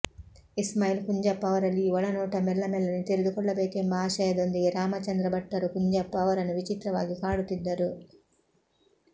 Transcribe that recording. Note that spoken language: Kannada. ಇಸ್ಮಾಯೀಲ್ ಕುಂಞಪ್ಪ ಅವರಲ್ಲಿ ಈ ಒಳನೋಟ ಮೆಲ್ಲ ಮೆಲ್ಲನೆ ತೆರೆದುಕೊಳ್ಳಬೇಕೆಂಬ ಆಶಯದೊಂದಿಗೆ ರಾಮಚಂದ್ರಭಟ್ಟರು ಕುಂಞಪ್ಪ ಅವರನ್ನು ವಿಚಿತ್ರವಾಗಿ ಕಾಡುತ್ತಿದ್ದರು